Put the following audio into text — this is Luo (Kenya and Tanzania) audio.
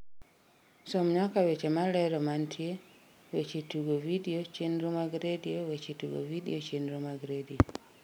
som nyaka weche malero mantie weche tugo vidio chenro mag redio weche tugo vidio chenro mag redio